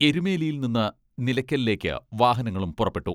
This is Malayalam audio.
എരുമേലയിയിൽ നിന്ന് നിലയ്ക്കലേക്ക് വാഹനങ്ങളും പുറപ്പെട്ടു.